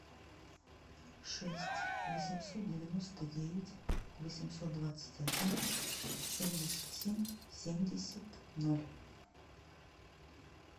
шесть восемьсот девяносто девять восемьсот двадцать один семьдесят семь семьдесят ноль